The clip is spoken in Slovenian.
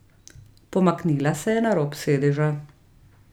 Pomaknila se je na rob sedeža.